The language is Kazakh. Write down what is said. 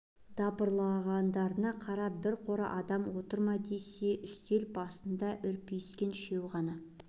дабырлағандарына қарап бір қора адам отыр ма десе үстел басында үрпиіскен үшеуі ғана